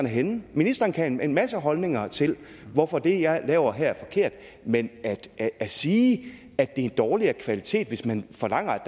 henne ministeren kan have en masse holdninger til hvorfor det jeg laver her er forkert men at sige at en dårligere kvalitet hvis man forlanger at